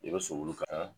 I bɛ sogolu kala